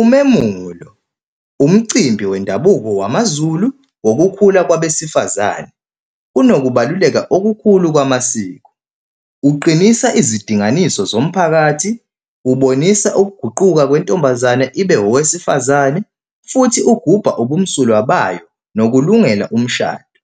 Umemulo, umcimbi wendabuko wamaZulu wokukhula kwabesifazane. Unokubaluleka okukhulu kwamasiko. Uqinisa izidinganiso zomphakathi, ubonisa ukuguquka kwentombazane ibe owesifazane futhi ugubha ubumsulwa bayo nokulungela umshado.